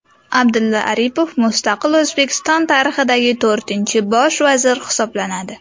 Abdulla Aripov mustaqil O‘zbekiston tarixidagi to‘rtinchi bosh vazir hisoblanadi.